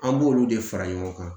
An b'olu de fara ɲɔgɔn kan